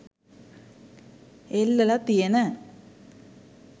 එල්ලල තියෙන